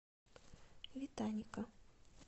витаника